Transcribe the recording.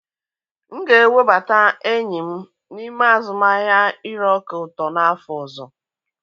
M ga-ewebata enyi m n'ime azụmahịa ire ọka ụtọ n'afọ ọzọ.